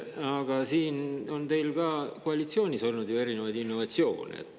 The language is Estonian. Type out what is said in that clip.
Aga ka koalitsioonis on teil olnud ju erinevaid innovatsioone.